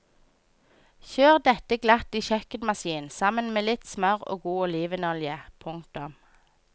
Kjør dette glatt i kjøkkenmaskin sammen med litt smør og god olivenolje. punktum